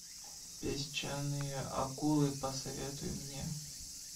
песчаные акулы посоветуй мне